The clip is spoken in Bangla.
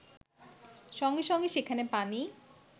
সঙ্গে সঙ্গে সেখানে পানি